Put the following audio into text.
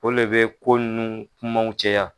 O le bɛ ko nunnu kumaw caya.